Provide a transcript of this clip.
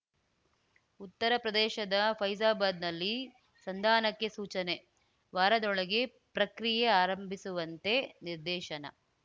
ಉತ್ತರ ಪ್ರದೇಶದ ಫೈಜಾಬಾದ್‌ನಲ್ಲಿ ಸಂಧಾನಕ್ಕೆ ಸೂಚನೆ ವಾರದೊಳಗೆ ಪ್ರಕ್ರಿಯೆ ಆರಂಭಿಸುವಂತೆ ನಿರ್ದೇಶನ